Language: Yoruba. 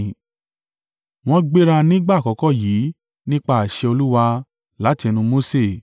Wọ́n gbéra nígbà àkọ́kọ́ yìí nípa àṣẹ Olúwa láti ẹnu Mose.